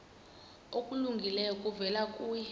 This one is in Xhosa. okulungileyo kuvela kuye